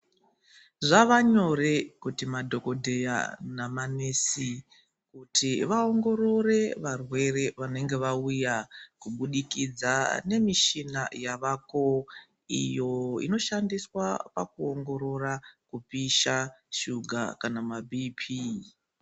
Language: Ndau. Zvava nyore kuti madhokodheya nemanesi kuti vaongorore varwere vanenge vauya kubudikidza nemishina yavako iyo inoshandiswa pakuongorora kupisha, shuga kana maBP.